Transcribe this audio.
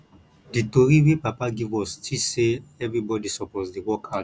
di tori wey papa give us teach sey everybodi suppose dey work hard